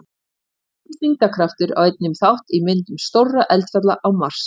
Lítill þyngdarkraftur á einnig þátt í myndum stórra eldfjalla á Mars.